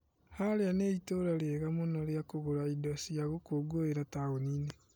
Harĩa nĩ itũra rĩega mũno rĩa kũgũra indo cia gũkũngũira taũni-inĩ .